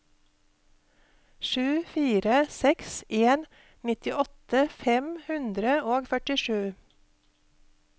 sju fire seks en nittiåtte fem hundre og førtisju